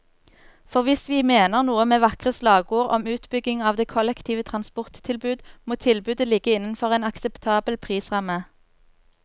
For hvis vi mener noe med vakre slagord om utbygging av det kollektive transporttilbud, må tilbudet ligge innenfor en akseptabel prisramme.